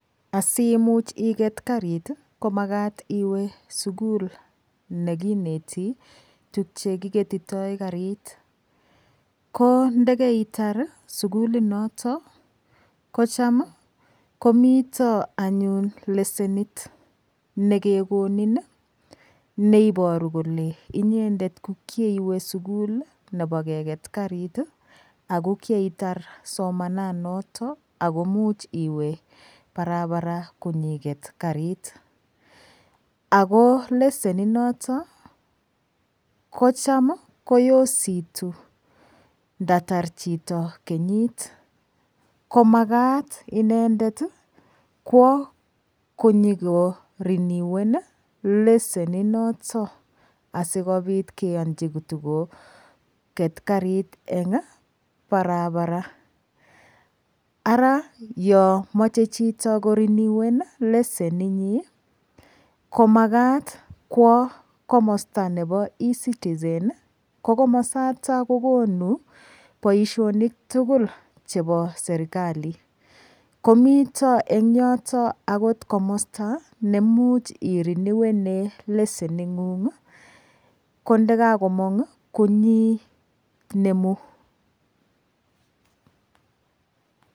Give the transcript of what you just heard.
Asiimuch iket karit komakat iwe sukul nekineti tukyekiketitoi karit ko ndikeitar sukulinoto ko cham komito anyun lesenit nekekonin neiboru kole inyendet ko kieiwe sukul nebo keket karit ako kieitar somananoto ako imuch iwe barabara konyiket karit ako leseni noto kocham koyositu ndatar chito kenyit komakat inendet kwo konyikoriniwen leseni noto asikobit keyonji kotikoket karit eng' barabara ara yo mochei chito koreniwen leseni nyi komakat kwo komosta nebo ecitize ko komosata kokonu boishonik tugul chebo serikali komito eng' yoto akot komosta neimuch iriniwene lesening'ung' kondikakomong' konyinemu